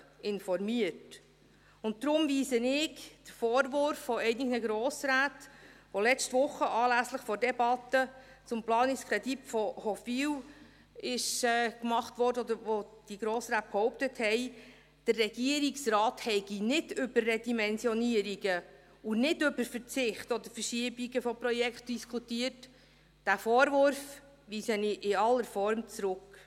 Deshalb weise ich den Vorwurf einiger Grossräte, den diese letzte Woche anlässlich der Debatte zum Planungskredit Hofwil machten oder behaupteten, der Regierungsrat habe über Redimensionierungen und über Verzicht oder Verschiebungen von Projekten diskutiert, diesen Vorwurf weise ich in aller Form zurück.